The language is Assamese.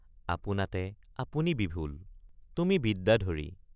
আপোনাতে আপুনি বিভোল তুমি বিদ্যাধৰী।